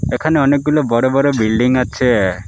এখানে অনেকগুলো বড়ো বড়ো বিল্ডিং আছে।